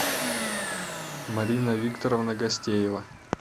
марина викторовна гостеева